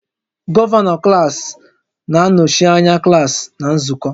Gọvanọ klaasị na-anọchi anya klaasị na nzukọ